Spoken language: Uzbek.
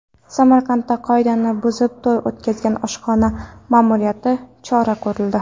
Samarqandda qoidani buzib to‘y o‘tkazgan oshxona ma’muriyatiga chora ko‘rildi.